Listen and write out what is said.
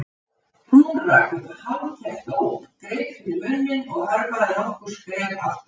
Hún rak upp hálfkæft óp, greip fyrir munninn og hörfaði nokkur skref aftur á bak.